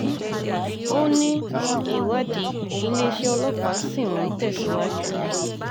ó ní ìwádìí iléeṣẹ́ ọlọ́pàá ṣì ń tẹ̀síwájú